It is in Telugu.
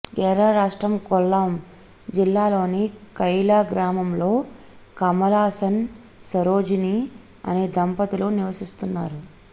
కేరళ రాష్ట్రం కొల్లాం జిల్లాలోని కైలా గ్రామంలో కమలాసన్ సరోజిని అనే దంపతులు నివసిస్తున్నారు